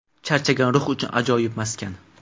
Charchagan ruh uchun ajoyib maskan.